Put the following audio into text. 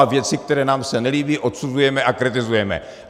A věci, které se nám nelíbí, odsuzujeme a kritizujeme.